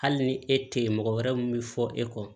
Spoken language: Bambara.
Hali ni e tɛ yen mɔgɔ wɛrɛ mun bɛ fɔ e kɔ